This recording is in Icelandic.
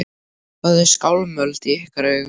Hvað er skálmöld í ykkar augum?